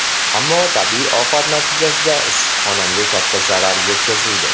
Ammo tabiiy ofat natijasida issiqxonamga katta zarar yetkazildi.